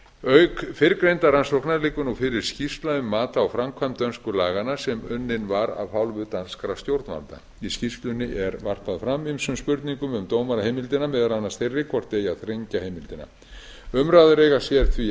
auk fyrrgreindrar rannsóknar liggur nú fyrir skýrsla um mat á framkvæmd dönsku laganna sem unnin var af hálfu danskra stjórnvalda í skýrslunni er varpað fram ýmsum spurningum um dómaraheimildina meðal annars þeirri hvort eigi að þrengja heimildina umræður eiga sér því enn stað